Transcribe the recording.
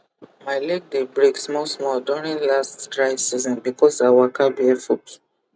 my leg dey break small small during last dry season because i waka barefoot